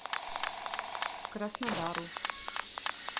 краснодару